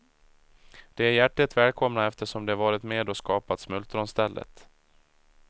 De är hjärtligt välkomna eftersom de varit med och skapat smultronstället.